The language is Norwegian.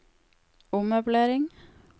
ommøblering